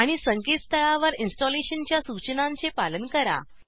आणि संकेतस्थळावर इंस्टॉलेशनच्या सुचनांचे पालन करा